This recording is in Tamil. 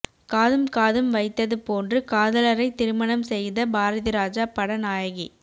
காதும் காதும் வைத்தது போன்று காதலரை திருமணம் செய்த பாரதிராஜா பட நாயகி